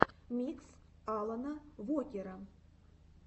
микс алана вокера